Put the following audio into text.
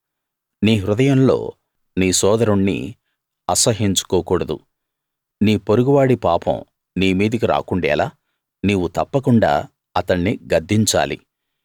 నీ హృదయంలో నీ సోదరుణ్ణి అసహ్యించుకోకూడదు నీ పొరుగువాడి పాపం నీ మీదికి రాకుండేలా నీవు తప్పకుండా అతణ్ణి గద్దించాలి